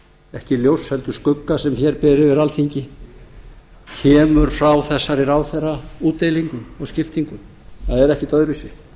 ekki ljóss heldur skugga sem hér ber yfir alþingi kemur frá þessari ráðherraútdeilingu og skiptingu það er ekkert öðruvísi